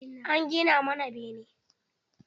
An gina mana bene.